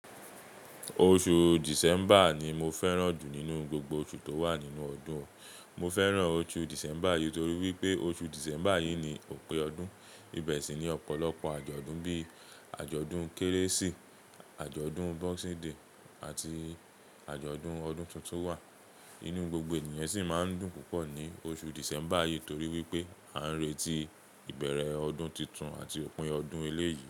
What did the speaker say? Oṣù December ni mo fẹ́ràn jù nínú gbogbo oṣù tó wà nínú ọdún. Mo fẹ́ràn oṣù December yìí torí wípé oṣù December yìí ni òpin ọdún, ibẹ̀ sì ní ọ̀pọ̀lọpọ̀ àjọ̀dún bíi àjọ̀dún Kérésì, àjọ̀dún Boxing Day àti àjọ̀dún ọdún tuntun wa. Inú gbogbo ènìyàn sì máa ń dùn púpọ̀ ní oṣù December yìí torí wípé a ń retí ìbẹ̀rẹ̀ ọdún titun àti òpin ọdún ẹlẹ́yi.